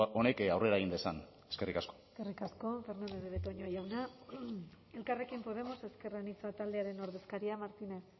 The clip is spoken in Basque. honek aurrera egin dezan eskerrik asko eskerrik asko fernandez de betoño jauna elkarrekin podemos ezker anitza taldearen ordezkaria martínez